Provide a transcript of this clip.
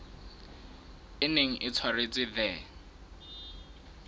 e neng e tshwaretswe the